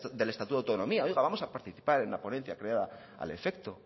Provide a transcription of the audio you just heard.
del estatuto de autonomía oiga vamos a participar en la ponencia creada al efecto